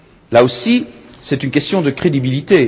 Là aussi, c'est une question de crédibilité.